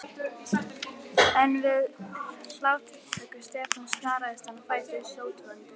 En við hláturroku Stefáns snaraðist hann á fætur, sótvondur.